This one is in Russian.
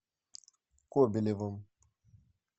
кобелевым